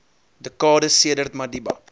dekades sedert madiba